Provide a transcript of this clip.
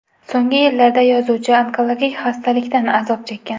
So‘nggi yillarda yozuvchi onkologik xastalikdan azob chekkan.